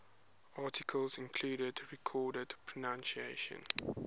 articles including recorded pronunciations